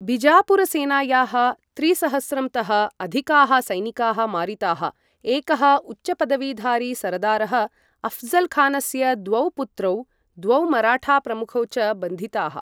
बिजापुरसेनायाः त्रिसहस्रं तः अधिकाः सैनिकाः मारिताः, एकः उच्चपदवीधारी सरदारः, अऴ्जल् खानस्य द्वौ पुत्रौ, द्वौ मराठाप्रमुखौ च बन्धिताः।